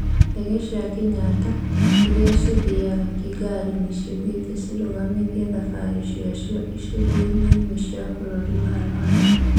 Ndege cia Kĩnyatta, irĩa cithĩaga kĩgari nĩ ciugĩte cirũgamĩtie thabarĩ ciacio icunjĩini imwe cia bũrũri wa Rwanda .